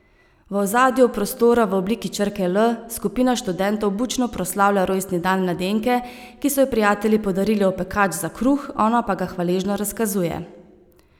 V ozadju prostora v obliki črke L skupina študentov bučno proslavlja rojstni dan mladenke, ki so ji prijatelji podarili opekač za kruh, ona pa ga hvaležno razkazuje.